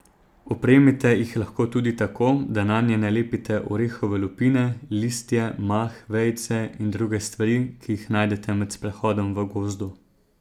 Opremite jih lahko tudi tako, da nanje nalepite orehove lupine, listje, mah, vejice in druge stvari, ki jih najdete med sprehodom v gozdu.